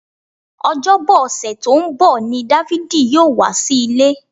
Ọjọ́bọ ọ̀sẹ̀ tó ń bọ̀ ni Dáfídì yóò wá sí ilé